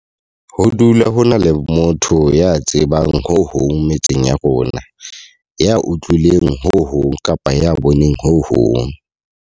Ho dula ho na le motho ya tsebang ho hong metseng ya rona, ya utlwileng ho hong kapa ya boneng ho hong.